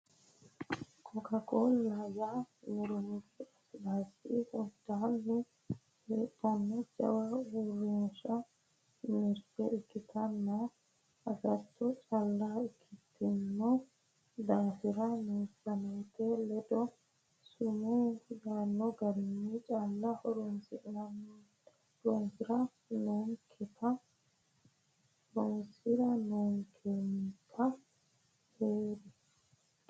Cocacola yaa miridu lasilasi hundani heedhano jawa uurrinsha mirte ikkittanna agatto calla ikkitino daafira meessaneti ledo summu yaano garinni calla horonsira noonkenka heeri.